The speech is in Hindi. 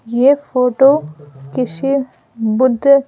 यह फोटो किसी बुद्ध--